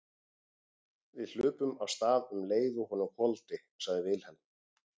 Við hlupum af stað um leið og honum hvolfdi, sagði Vilhelm.